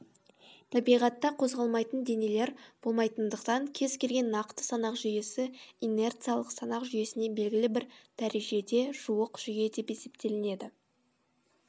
табиғатта қозғалмайтын денелер болмайтындықтан кез келген нақты санақ жүйесі инерциялық санақ жүйесіне белгілі бір дәрежеде жуық жүйе деп есептелінеді